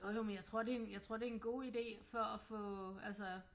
Jo jo men jeg tror det en jeg tror det en god idé for at få altså